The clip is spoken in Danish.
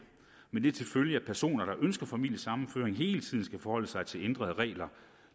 med det til følge at personer der ønsker familiesammenføring hele tiden skal forholde sig til ændrede regler